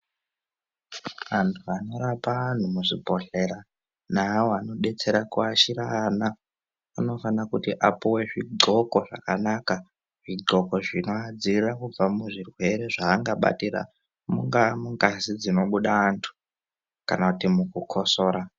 Antu anorapa antu muzvibhedhlera naawo anodetsera kuashira ana anofana kuti apuwe zvidxoko zvakanaka zvidxoko zvinodziirira kubva muzvirwere zvaangabatira mungaa mungazi dzinobuda antu kana kuti mukukosora.